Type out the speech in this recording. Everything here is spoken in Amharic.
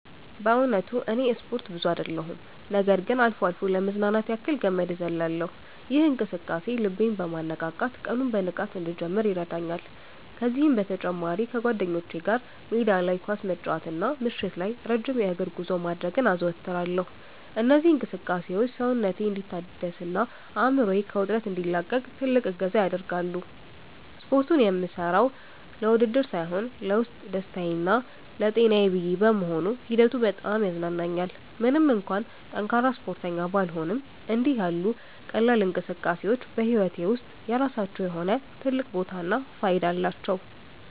በእውነቱ እኔ ስፖርት ብዙ አይደለሁም ነገር ግን አልፎ አልፎ ለመዝናናት ያክል ገመድ ዝላይ እዘልላለሁ። ይህ እንቅስቃሴ ልቤን በማነቃቃት ቀኑን በንቃት እንድጀምር ይረዳኛል። ከዚህም በተጨማሪ ከጓደኞቼ ጋር ሜዳ ላይ ኳስ መጫወትና ምሽት ላይ ረጅም የእግር ጉዞ ማድረግን አዘወትራለሁ። እነዚህ እንቅስቃሴዎች ሰውነቴ እንዲታደስና አእምሮዬ ከውጥረት እንዲላቀቅ ትልቅ እገዛ ያደርጋሉ። ስፖርቱን የምሠራው ለውድድር ሳይሆን ለውስጥ ደስታዬና ለጤናዬ ብዬ በመሆኑ ሂደቱ በጣም ያዝናናኛል። ምንም እንኳን ጠንካራ ስፖርተኛ ባልሆንም፣ እንዲህ ያሉ ቀላል እንቅስቃሴዎች በሕይወቴ ውስጥ የራሳቸው የሆነ ትልቅ ቦታና ፋይዳ አላቸው።